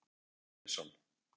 Einar Ólafur Sveinsson.